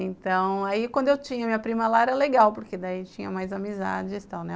Então, aí quando eu tinha minha prima lá era legal, porque daí tinha mais amizades e tal, né?